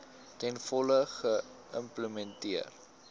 ten volle geïmplementeer